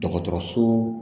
Dɔgɔtɔrɔso